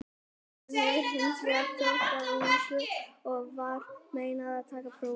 Hann hefur hins vegar þótt of ungur og var meinað að taka prófið.